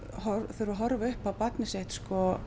þurfa á horfa upp á barnið sitt